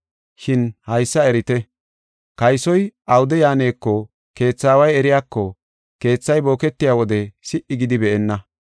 Shin haysa erite; kaysoy awude yaaneko keetha aaway eriyako keethay boketiya wode si77i gidi be7enna.